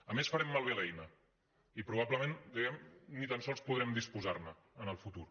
a més farem malbé l’eina i probablement diguem ne ni tan sols podrem disposar ne en el futur